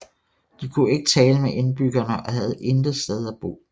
De kunne ikke tale med indbyggerne og havde intet sted at bo